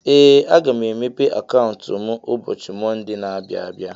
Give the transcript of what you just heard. Ee! Aga m emepe akauntu mụ ụbọchị Monde na - abịa abịa.